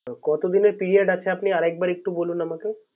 ও কত দিন এর Period আপনি আরেক একটু বলুন আমাকে